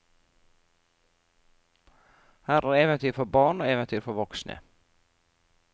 Her er eventyr for barn og eventyr for voksne.